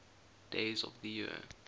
days of the year